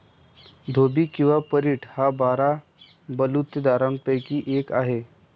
धोबी किंवा परीट हा बारा बलुतेदारांपैकी एक आहे.